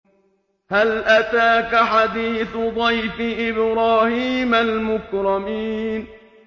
هَلْ أَتَاكَ حَدِيثُ ضَيْفِ إِبْرَاهِيمَ الْمُكْرَمِينَ